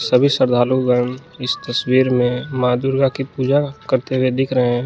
सभी श्रद्धालु गढ़ इस तस्वीर में मां दुर्गा की पूजा करते हुए दिख रहे हैं।